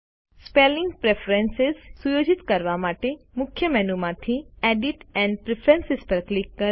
spelling preference સુયોજિત કરવા માટે મુખ્ય મેનુ માંથી એડિટ અને પ્રેફરન્સ પર ક્લિક કરો